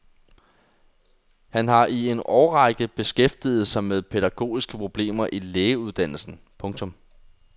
Han har i en årrække beskæftiget sig med pædagogiske problemer i lægeuddannelsen. punktum